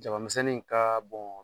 Jabamisɛnnin ka